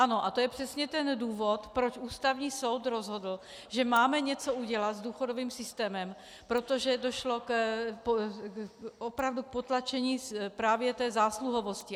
Ano a to je přesně ten důvod, proč Ústavní soud rozhodl, že máme něco udělat s důchodovým systémem, protože došlo opravdu k potlačení právě té zásluhovosti.